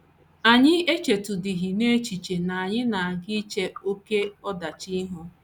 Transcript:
Anyị echetụdịghị n’echiche na n’echiche na anyị na - aga iche oké ọdachi ihu.